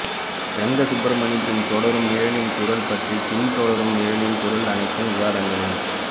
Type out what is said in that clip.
ரெங்கசுப்ரமணி பின் தொடரும் நிழலின் குரல் பற்றி பின் தொடரும் நிழலின் குரல் அனைத்து விவாதங்களும்